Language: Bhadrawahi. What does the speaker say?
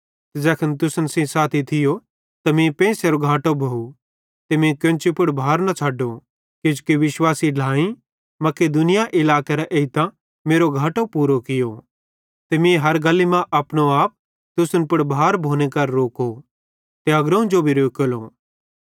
ते ज़ैखन तुसन सेइं साथी थियो ते मीं पेइंसेरो घाटो भोव ते मीं केन्ची पुड़ भार न छ़ड्डो किजोकि विश्वासी ढ्लाएईं मकिदुनिया इलाकेरां एइतां मेरो घाटो पूरो कियो ते मीं हर गल्ली मां अपनो आप तुसन पुड़ भार भोने करां रोको ते अग्रोवं जो भी रोकेलो